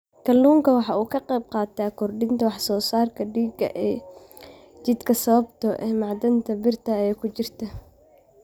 Kalluunku waxa uu ka qaybqaataa kordhinta wax soo saarka dhiigga ee jidhka sababtoo ah macdanta birta ah ee ku jirta.